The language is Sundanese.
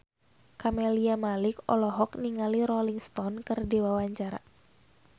Camelia Malik olohok ningali Rolling Stone keur diwawancara